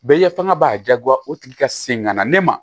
Bɛɛ ye fanga b'a diyagoya o tigi ka segin ka na ne ma